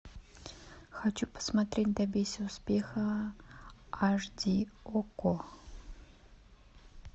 хочу посмотреть добейся успеха аш ди окко